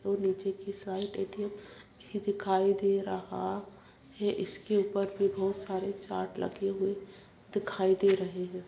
निचा की side ATM. दिखाई दे रहा है | इसके ऊपर भी बहुत सरे चार्ट लगे हुए दिखाई दे रहे हैं |